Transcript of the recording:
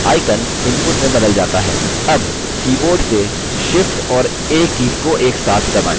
अब keyboard से shift और a कीज़ को एक साथ दबाएँ